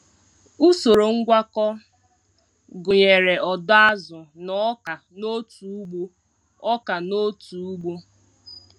Usoro ngwakọ gụnyere ọdọ azụ na ọka n'otu ugbo. ọka n'otu ugbo.